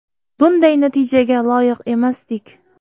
Bunday natijaga loyiq emasdik.